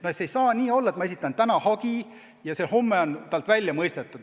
Ei saa nii olla, et ma esitan täna hagi ja homme on talt kahjutasu välja mõistetud.